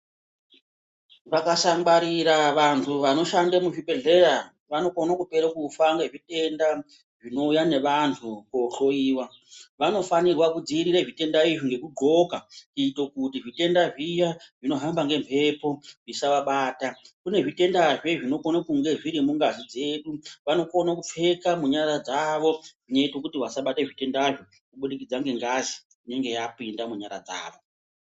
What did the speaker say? Vakasangwarira vantu vanoshande muzvibhehleya vanokone kupera kufa ngezvitenda zvinoita neanhu kohlowiwa. Vanofanirwa kudzivirira zvitenda izvi ngekudhloka kuita kuti zvitenda zviya zvinohamba ngemhepo zvisavabata. Kune zvitendazve zvinokona kunge zviri mungazi dzedu vanokona kupfeka munyara dzavo zvinoita kuti vasabatwe zvitendazvo kubudikidza ngengazi inenge yapinda munyara dzavo.